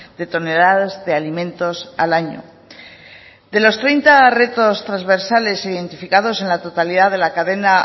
de toneladas de alimentos al año de los treinta retos transversales identificados en la totalidad de la cadena